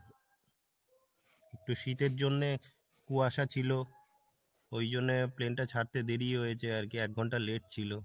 একটু শীতের জন্যে কুয়াশা ছিলো ওই জন্যে plane টা ছাড়তে দেরি হয়েছে আর কি এক ঘন্টা late ছিলো,